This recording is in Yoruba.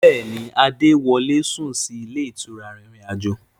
Bẹ́ẹ̀ni, Adé wọlé sún sì ilé ìtura arìnrìn-àjò.